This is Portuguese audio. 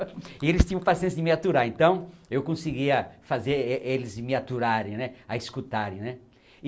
E eles tinham paciência de me aturar, então eu conseguia fazer eh eles me aturarem, né, a escutarem, né.